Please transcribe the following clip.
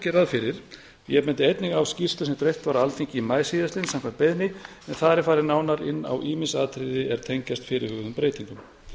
ráð fyrir ég bendi einnig á skýrslu sem dreift var á alþingi í maí síðastliðnum samkvæmt beiðni en þar er farið nánar inn á ýmis atriði er tengjast fyrirhuguðum breytingum